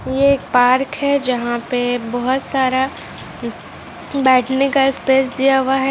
ये एक पार्क है जहां पे बहोत सारा बेठ ने का स्पेस दिया हुआ है।